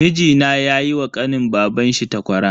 Mijina yayi wa kanin babanshi takwara.